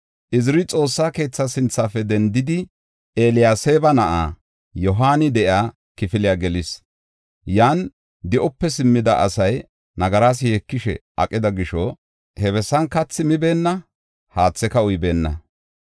Iziri Xoossa keetha sinthafe dendidi, Eliyaseeba na7ay Yohaani de7iya kifile gelis. Yan di7ope simmida asay nagaras yeekishe aqida gisho, he bessan kathi mibeenna; haatheka uybeenna.